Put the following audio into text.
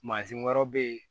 Mansin wɛrɛw bɛ yen